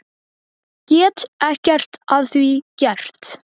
Get ekkert að því gert.